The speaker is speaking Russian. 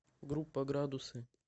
группа градусы